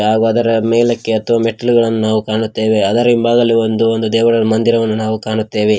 ಹಾಗು ಅದರ ಮೇಲೆ ಹತ್ತುವ ಮೆಟ್ಟಿಲುಗಳನ್ನು ಕಾಣುತ್ತೇವೆ ಅದರ ಹಿಂಭಾಗದಲ್ಲಿ ಒಂದು ದೇವರ ಮಂದಿರವನ್ನು ನಾವು ಕಾಣುತ್ತೇವೆ.